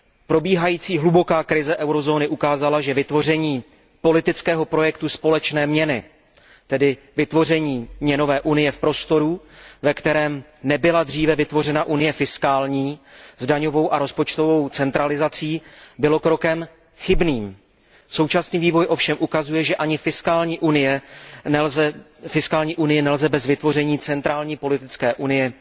Probíhající hluboká krize eurozóny ukázala, že vytvoření politického projektu společné měny, tedy vytvoření měnové unie v prostoru, ve kterém nebyla dříve vytvořena unie fiskální s daňovou a rozpočtovou centralizací, bylo krokem chybným. Současný vývoj ovšem ukazuje, že ani fiskální unii nelze bez vytvoření centrální politické unie